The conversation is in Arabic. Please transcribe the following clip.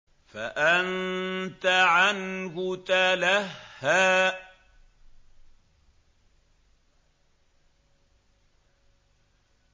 فَأَنتَ عَنْهُ تَلَهَّىٰ